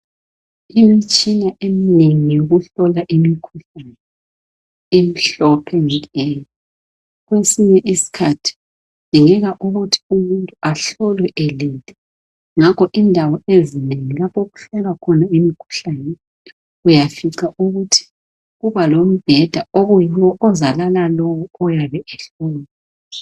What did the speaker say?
Imitshina eminengi yokuhlola imikhuhlane emihlophe eminengi. Kwesinye isikhathi kudingeka ukuthi umuntu ahlolwe elele, ngakho indawo ezinengi lapho okuhlolwa khona imikhuhlane uyafica ukuthi, kuba lombeda okuyiwo ozalala lowo oyabe ehlolwa.